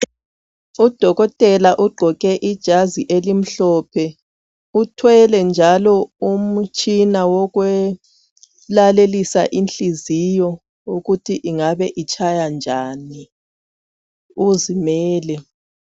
Udokotela ugqoke ijazi elimhlophe uthwele njalo ukutshina okwelalelisa inhliziyo ukuthi ingabe itshaya njani, uzimele.